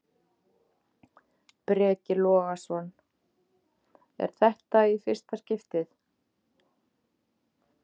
Breki Logason: Er þetta í fyrsta skiptið?